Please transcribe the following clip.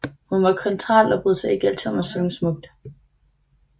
Hun var kontraalt og brød sig ikke altid om at synge smukt